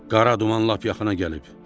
Qara duman lap yaxına gəlib.